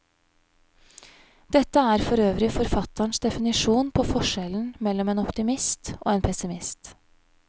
Dette er for øvrig forfatterens definisjon på forskjellen mellom en optimist og en pessimist.